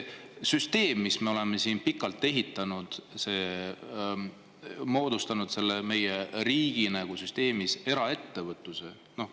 Me oleme siin pikalt ehitanud süsteemi, moodustanud meie riigi süsteemis eraettevõtluse.